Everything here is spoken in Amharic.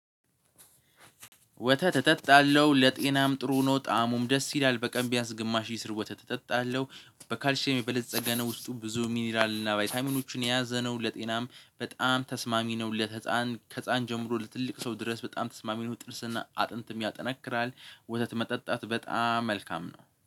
ወተት እጠጣለሁ ለጤናም ጥሩ ነው ጣእሙም ደስ ይላል። በቀን ቢያንስ ግማሽ ይስር ወተት እጠጣለሁ። በካልሼም የበለፀገ ነው። ውስጡ ብዙ ሚኒራል እና ባይታይመኖችን የያዘ ነው። ለጤናም በጣም ተስማሚ ነው። ለህፃን ከህፃን ጀምሮ ለትልቅ ሰው ድረስ በጣም ተስማሚ ነው። ጥርስና አጥንትም ያጠናክራል። ወተት መጠጣት በጣም መልካም ነው።